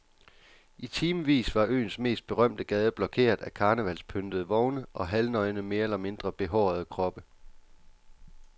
I timevis var øens mest berømte gade blokeret af karnevalspyntede vogne og halvnøgne mere eller mindre behårede kroppe.